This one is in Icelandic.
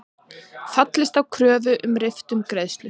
Fallist á kröfu um riftun greiðslu